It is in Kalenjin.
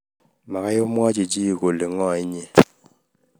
magai amwachi chii kole ing'o inyee